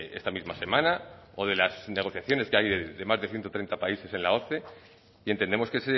esta misma semana o de las negociaciones que hay de más de ciento treinta países en la oce y entendemos que